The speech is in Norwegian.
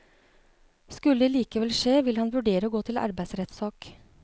Skulle det likevel skje, vil han vurdere å gå til arbeidsrettssak.